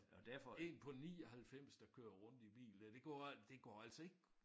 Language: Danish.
Én på 99 der kører rundt i bil der det går det går altså ikke